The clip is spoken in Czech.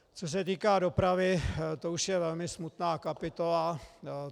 Co se týká dopravy, to už je velmi smutná kapitola.